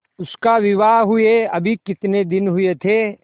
उसका विवाह हुए अभी कितने दिन हुए थे